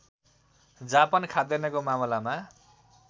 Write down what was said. Japan खाद्यान्नको मामलामा